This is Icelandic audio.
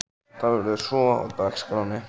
Hvað verður svo á dagskránni?